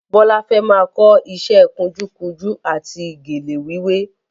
Bọ́lá fẹ́ máa kọ ìṣe kunjúkunjú àti gèlè wíwé